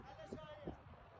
Ələ çəkək, yəni.